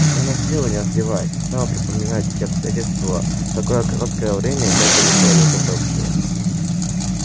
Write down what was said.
она села не раздеваясь и стала припоминать все обстоятельства в такое короткое время и так далеко её завлёкшие